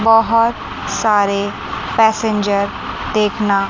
बहोत सारे पैसेंजर देखना--